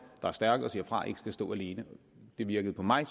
er stærke og siger fra ikke skal stå alene det virkede på mig